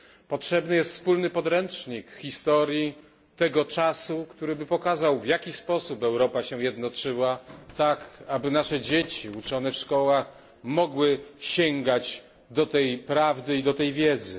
Potrzebny jest wspólny podręcznik historii tego czasu, który by pokazał, w jaki sposób Europa się jednoczyła, tak, aby nasze dzieci w szkołach mogły sięgać do tej prawdy i do tej wiedzy.